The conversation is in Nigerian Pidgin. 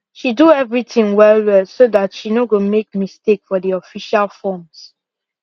she do everything well well so that she no go make mistake for the official forms